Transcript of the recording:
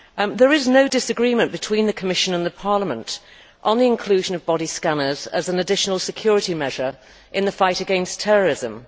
There is no disagreement between the Commission and Parliament on the inclusion of body scanners as an additional security measure in the fight against terrorism.